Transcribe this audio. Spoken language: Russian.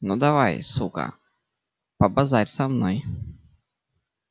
ну давай сука побазарь со мной